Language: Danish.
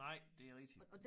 Nej det er rigtigt